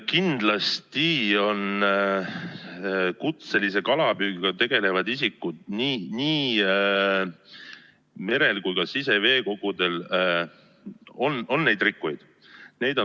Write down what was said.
Kindlasti on kutselise kalapüügiga tegelevate isikute seas nii merel kui ka siseveekogudel neid rikkujaid.